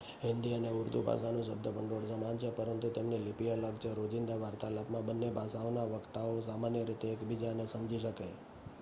હિન્દી અને ઉર્દૂ ભાષાનું શબ્દભંડોળ સમાન છે પરંતુ તેમની લિપિ અલગ છે રોજિંદા વાર્તાલાપમાં બંને ભાષાઓના વક્તાઓ સામાન્ય રીતે એકબીજાને સમજી શકે